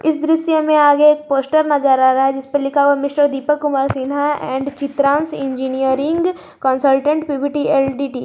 इस दृश्य में आगे एक पोस्टर नजर आ रहा है जिस पर लिखा हुआ mister Deepak Kumar Sinha and Chitransh engineering consultant P V T L T D.